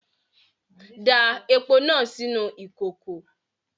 Da epo náà sínú ìkòkò!